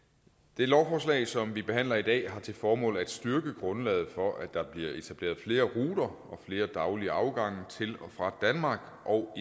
det lovforslag som vi behandler i dag har til formål at styrke grundlaget for at der bliver etableret flere ruter og flere daglige afgange til og fra danmark og